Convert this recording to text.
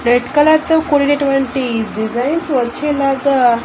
red colour తో కూడినటువంటి designs వచ్చేలాగా--